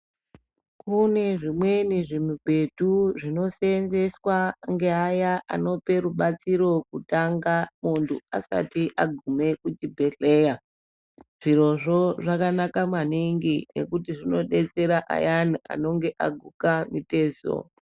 Kune zvimweni zvimibhedhu zvinoseenzeswa ngeaya anoape rubatsiro kutanga muntu asati agume kuchibhedhleya. Zvirozvo zvakanaka maningi, ngekuti zvinodetsera ayani anonge aguka mitezo.